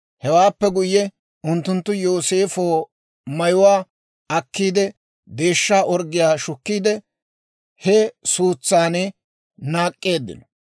Hewaappe guyye unttunttu Yooseefo mayuwaa akkiidde, deeshsha orggiyaa shukkiide, he suutsan naak'k'eeddino.